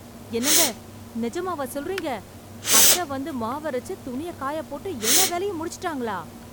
என்னங்க, நிஜமாவா சொல்றீங்க, அத்தை வந்து மாவரைச்சு, துணி காய போட்டு எல்லா வேலையும் முடிச்சுட்டாங்களா?